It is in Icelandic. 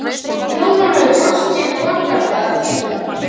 Jón Ólafur brosti vandræðalega til hennar.